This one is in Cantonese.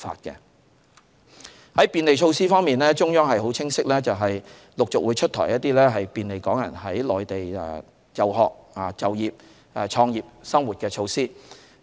在便利措施方面，中央是很清晰的，就是會陸續出台一些便利港人在內地就學、就業、創業和生活的措施。